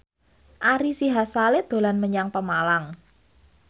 Ari Sihasale dolan menyang Pemalang